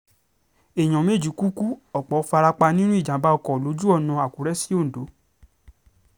èèyàn méjì ku ku ọ̀pọ̀ fara pa nínú ìjàm̀bá ọkọ̀ lójú ọ̀nà àkùrẹ́ sí ondo